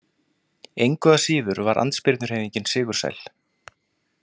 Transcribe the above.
Engu að síður var andspyrnuhreyfingin sigursæl.